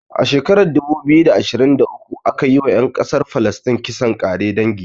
A shekara ta dubu ashirin da ashirin da uku aka yi wa ƴan ƙasar falistin kisan kare dangi